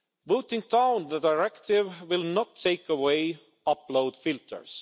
Voting down the directive will not take away upload filters.